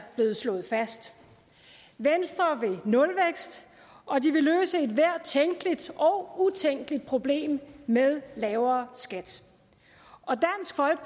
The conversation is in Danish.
blevet slået fast venstre vil nulvækst og de vil løse ethvert tænkeligt og utænkeligt problem med lavere skat